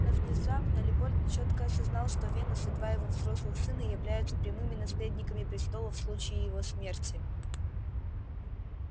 но внезапно лепольд чётко осознал что венус и два его взрослых сына являются прямыми наследниками престола в случае его смерти